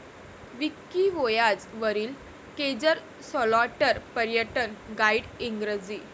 Wikivoyage वरील केजर सलॉटर पर्यटन गाईड इंग्रजी